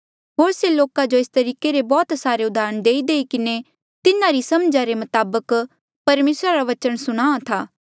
होर से लोका जो एस तरीके रे बौह्त सारे उदाहरण देईदेई किन्हें तिन्हारी समझा रे मताबक परमेसरा रा बचन सुणाहां था